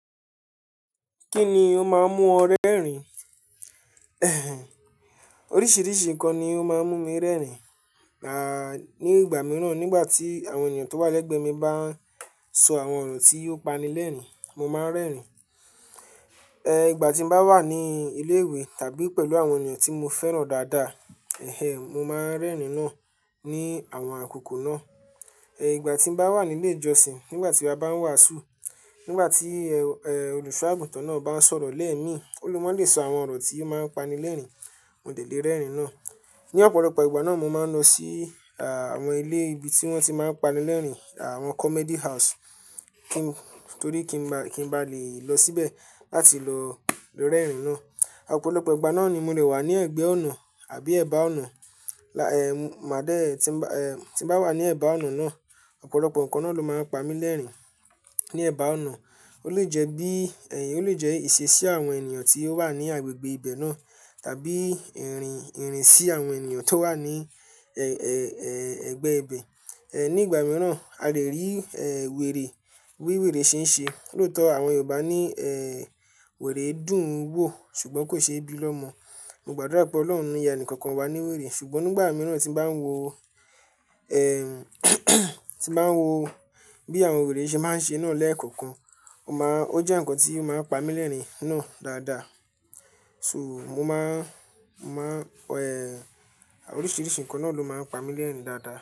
Kí ni ó máa ń mú ọ rẹ́rìn-ín? Ẹ̀hẹ̀n, oríṣiríṣi nǹkan ni ó máa ń mú mi rẹ́rìn-ín, à ní ìgbà mìíràn nígbà tí àwọn ènìyàn tó wà lẹ́gbẹ̀ẹ́ mi bá ń sọ àwọn ọ̀rọ̀ tí yóò pani lẹ́rìn-ín, mo máa ń rẹ́rìn-ín. Ẹ̀, ìgbà tí mo bá wà ní ilé ìwé tàbí pẹ̀lú àwọn ènìyàn tí mo fẹ́ràn dáadáa, ẹ́hẹ̀n, mo máa ń rẹ́rìn-ín náà ní àwọn àkókò náà. Ẹ̀, ìgbà tí mo bá wà ní ilé ìjọsìn, nígbà tí a bá ń wàásù, nígbà tí ẹ́, ẹ̀, olùṣọ́-àgùntàn náà bá ń sọ̀rọ̀ lẹ́ẹ̀ẹ́ mí, ó limọ́lé sọ àwọn ọ̀rọ̀ tí yóò máa pani lẹ́rìn-ín, mo lè lè rẹ́rìn-ín náà. Ní ọ̀pọ̀lọpọ̀ ìgbà náà mo máa ń lọ sí àwọn ilé ibi tí wọ́n ti máa ń pani lẹ́rìn-ín, àwọn comedy house, kí n torí kí n ba, kí n ba le lọ síbẹ̀ láti lọ rẹ́rìn-ín náà. Ọ̀pọ̀lọpọ̀ ìgbà náà ni mo lè wà ní ẹ̀gbẹ́ ọ̀nà àbí ẹ̀bá ọ̀nà. La ẹ́, màá dé tí ń ba, ẹ́, tí mo bá wà ní ẹ̀bá ọ̀nà náà, ọ̀pọ̀lọpọ̀ ǹkan náà ló máa ń pa mi lẹ́rìn-ín. Ni ẹ̀bá ọ̀nà, ó lè jẹ́ bí, ẹ̀yí ó lè jẹ́ ìṣesí àwọn ènìyàn tí ó wà ní agbègbè ibẹ̀ náà tàbí ìrìn, ìrìn sí àwọn ènìyàn tó wà ní, ẹ́, ẹ́, ẹ́, ẹgbẹ́ ibẹ̀. Ẹ̀, ní ìgbà mìíràn a lè rí, ẹ́, wèrè, bí wèrè ṣe ń ṣe. Lóòótọ́ àwọn Yorùbá ní, ẹ́, wèrè dùn ún wò ṣùgbọ́n kò ṣe é bí lọ́mọ. Mo gbàdúrà pé Ọlọ́run o. Ni yá ẹnì kankan wa ní wèrè, ṣùgbọ́n nígbà mìíràn tí mo bá ń wo, ẹ́, tí mo bá ń wo bí àwọn wèrè ṣe máa ń ṣe náà lẹ́ẹ̀kọ̀kan, o máa, ó jẹ́ ǹkan tí ó máa ń pa mi lẹ́rìn-ín náà dáadáa. So mo máa, mo máa, ẹ́, oríṣiríṣi nǹkan náà ló máa ń pa mi lẹ́rìn-ín dáadáa.